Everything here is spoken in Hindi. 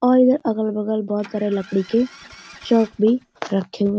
और इधर अगल-बगल बहुत सारे लकड़ी के शव भी रखे हुए --